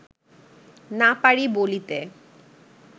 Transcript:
না পারি বলিতে